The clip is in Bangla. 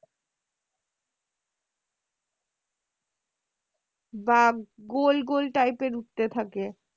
বা গোল গোল type এর উঠতে থাকে।